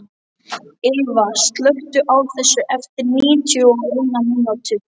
Ylva, slökktu á þessu eftir níutíu og eina mínútur.